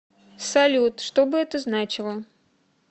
салют что бы это значило